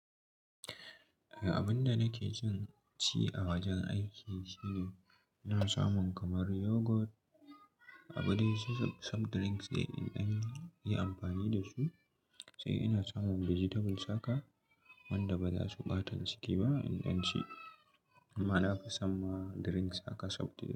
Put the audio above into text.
Abin da nake son ci a wajen aiki shine ina samun kamar yoghurt, abu dai, soft drinks dai, in ɗan yi amfani da su, sai ina son vegetables haka wanda ba za su ɓatan ciki ba in an ci. Amma nafi son ma drinks haka soft drink.